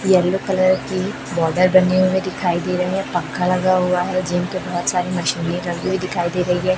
Yellow colour की border बने हुए दिखाई दे रहे हैं पंखा लगा हुआ है जिम के बहोत सारी मशीने लगी हुई दिखाई दे रही है।